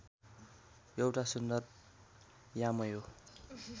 यौटा सुन्दर यामयो